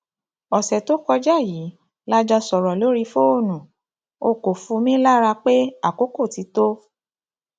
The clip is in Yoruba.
ọsẹ tó kọjá yìí la jọọ sọrọ lórí fóònù o kò fu mí lára pé àkókò ti tó